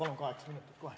Nii et palun kaheksa minutit!